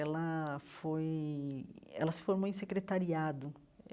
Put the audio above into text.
Ela foi... Ela se formou em secretariado.